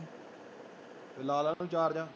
ਤੇ ਲਾ ਲਾ ਇਹਨੂੰ ਚਾਰਜਰ